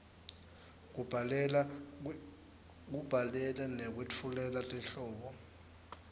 kubhalela nekwetfulela tinhlobo